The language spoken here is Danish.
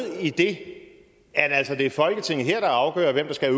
i det altså at det er folketinget her der afgør hvem der skal